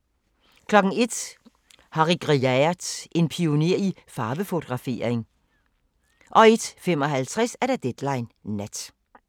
01:00: Harry Gruyaert: En pioner i farvefotografering 01:55: Deadline Nat